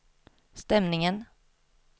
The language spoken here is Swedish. stämningen